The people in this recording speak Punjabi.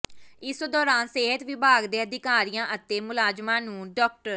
ਇਸ ਦੌਰਾਨ ਸਿਹਤ ਵਿਭਾਗ ਦੇ ਅਧਿਕਾਰੀਆਂ ਅਤੇ ਮੁਲਾਜ਼ਮਾਂ ਨੂੰ ਡਾ